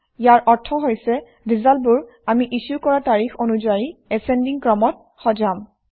ইয়াৰ অৰ্থ হৈছে ৰিজাল্টবোৰ আমি ইছ্যু কৰা তাৰিখ অনুযায়ী এছেণ্ডিং ক্ৰমত সজাম